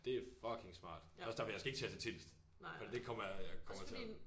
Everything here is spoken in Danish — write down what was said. Det er fucking smart det er også derfor jeg skal ikke til at til Tilst fordi det kommer jeg jeg kommer til at